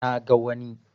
Na ga wani